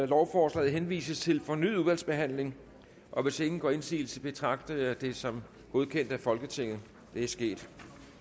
lovforslaget henvises til fornyet udvalgsbehandling og hvis ingen gør indsigelse betragter jeg det som godkendt af folketinget det er sket